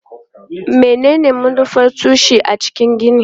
Menene manufar tushe a cikin gini?